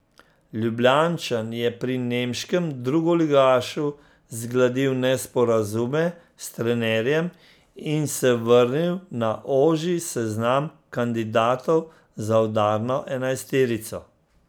Ljubljančan je pri nemškem drugoligašu zgladil nesporazume s trenerjem in se vrnil na ožji seznam kandidatov za udarno enajsterico.